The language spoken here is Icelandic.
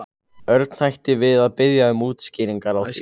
Örn hætti við að biðja um útskýringar á því.